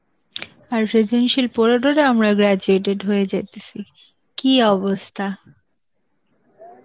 আর সেই জিনিসই পড়ে টোরে আমরা graduated হয়ে যাইতেসি, কি অবস্থা